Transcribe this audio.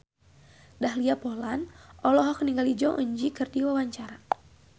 Dahlia Poland olohok ningali Jong Eun Ji keur diwawancara